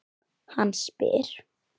Hann spyr.